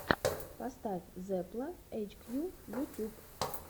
поставь зепла эйчкью ютюб